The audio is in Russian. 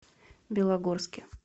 белогорске